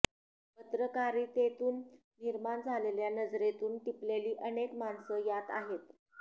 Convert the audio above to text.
पत्रकारितेतून निर्माण झालेल्या नजरेतून टिपलेली अनेक माणसं यात आहेत